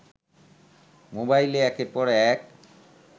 মোবাইলে একের পর এক